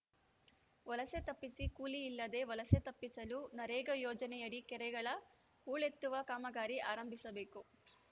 ವಲಸೆ ತಪ್ಪಿಸಿ ಕೂಲಿಯಿಲ್ಲದೆ ವಲಸೆ ತಪ್ಪಿಸಲು ನರೇಗಾ ಯೋಜನೆಯಡಿ ಕೆರೆಗಳ ಹೂಳೆತ್ತುವ ಕಾಮಗಾರಿ ಆರಂಭಿಸಬೇಕು